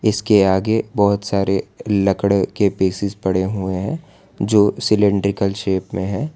इसके आगे बहोत सारे लकड़ के पीसेस पड़े हुए हैं जो सिलैंडरिकल शेप में है।